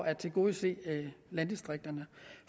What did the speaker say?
at tilgodese landdistrikterne